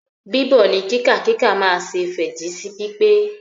Bíbọ̀ ní kíkà kíkà máa se fẹ́jì sí pípé